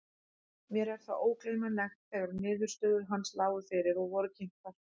Mér er það ógleymanlegt þegar niðurstöður hans lágu fyrir og voru kynntar.